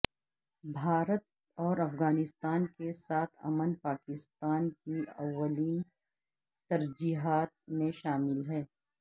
بھارت اور افغانستان کے ساتھ امن پاکستان کی اولین ترجیحات میں شامل ہے